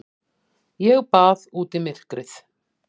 Ég bað út í myrkrið.